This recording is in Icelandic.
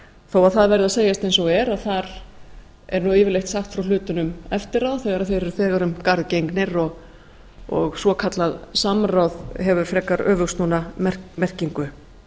þó það verði að segjast eins og er að þar nú yfirleitt sagt frá hlutunum eftir á þegar þeir eru um garð gengnir og svokallað samráð hefur frekar öfugsnúna merkingu